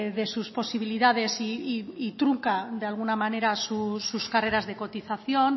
de sus posibilidades y trunca de alguna manera sus carreras de cotización